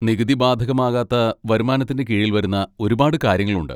നികുതി ബാധകമാകാത്ത വരുമാനത്തിൻ്റെ കീഴിൽ വരുന്ന ഒരുപാട് കാര്യങ്ങളുണ്ട്.